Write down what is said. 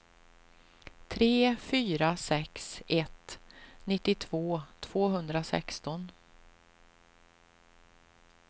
tre fyra sex ett nittiotvå tvåhundrasexton